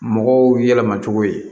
Mɔgɔw yɛlɛmacogo ye